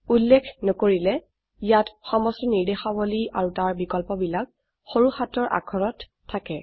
উল্লেখ নকৰিলে ইয়াত সমস্ত ৰ্নিদেশাবলী আৰু তাৰ বিকল্পবিলাক সৰু হাতৰ অাক্ষৰত থাকে